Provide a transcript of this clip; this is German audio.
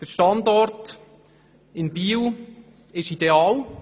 Der Standort in Biel ist ideal.